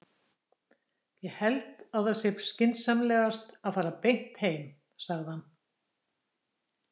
Ég held að það sé skynsamlegast að fara beint heim, sagði hann.